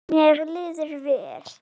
Mér líður mjög vel.